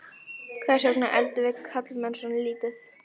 Hvers vegna eldum við karlmenn svona lítið?